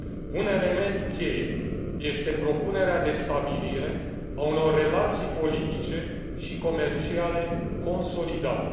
Un element cheie este propunerea de stabilire a unor relații politice și comerciale consolidate.